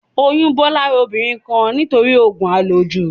Oyún bọ́ lára obìnrin kan nítorí òògùn à lò jù